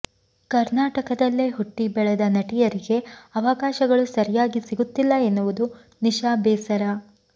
ಕರ್ನಾಟಕದಲ್ಲೇ ಹುಟ್ಟಿ ಬೆಳೆದ ನಟಿಯರಿಗೆ ಅವಕಾಶಗಳು ಸರಿಯಾಗಿ ಸಿಗುತ್ತಿಲ್ಲ ಎನ್ನುವುದು ನಿಶಾ ಬೇಸರ